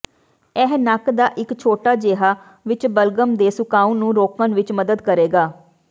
ਇਹ ਨੱਕ ਦਾ ਇੱਕ ਛੋਟਾ ਜਿਹਾ ਵਿੱਚ ਬਲਗਮ ਦੇ ਸੁਕਾਉਣ ਨੂੰ ਰੋਕਣ ਵਿੱਚ ਮਦਦ ਕਰੇਗਾ